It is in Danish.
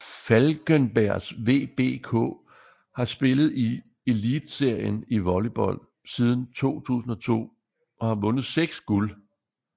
Falkenbergs VBK har spillet i Elitserien i volleybold siden 2002 og har vundet seks guld